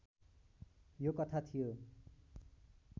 यो कथा थियो